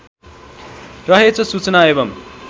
रहेछ सूचना एवम्